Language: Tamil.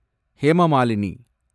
ஹேமா மாலினி